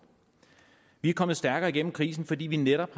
vi er kommet stærkere igennem krisen fordi vi netop